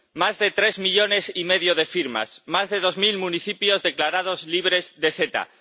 Más de tres millones y medio de firmas, más de dos mil municipios declarados libres de CETA.